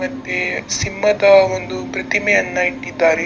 ಮತ್ತೆ ಸಿಂಹದ ಒಂದು ಪ್ರತಿಮೆಯನ್ನ ಇಟ್ಟಿದ್ದಾರೆ .